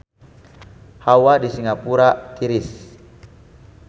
Hawa di Singapura tiris